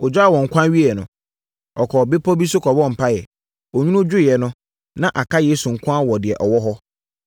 Ɔgyaa wɔn ɛkwan wieeɛ no, ɔkɔɔ bepɔ bi so kɔbɔɔ mpaeɛ. Onwunu dwoeɛ no, na aka Yesu nko ara wɔ deɛ ɔwɔ hɔ.